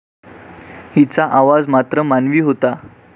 हिचा आवाज मात्र मानवी होता.